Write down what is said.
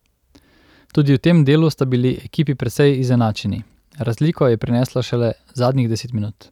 Tudi v tem delu sta bili ekipi precej izenačeni, razliko je prineslo šele zadnjih deset minut.